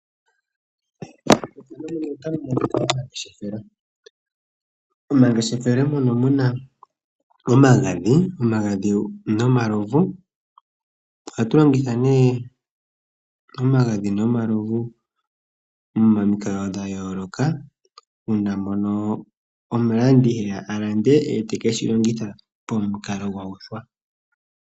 Momangeshefelo ohamu kala iinima yayoolokothana ngaashi omagadhi nenge omalovu. Omalovu ohaga landwa unene kaantu mboka yena oongeshefa ooshona dhuundingisho.